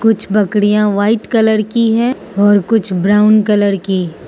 कुछ बकरियां white colour की है और कुछ ब्राउन कलर की।